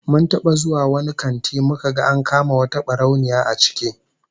Mun taba zuwa wani kanti muka ga an kama wata barauniya a ciki